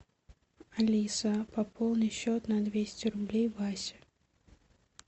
алиса пополни счет на двести рублей васе